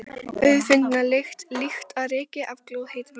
Auðfundna lykt, líkt og ryki af glóðheitum réttum.